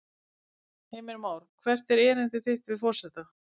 Heimir Már: Hvert er erindi þitt við forseta?